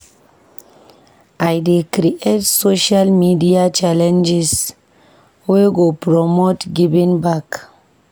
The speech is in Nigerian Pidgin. I dey create social media challenges wey go promote giving back.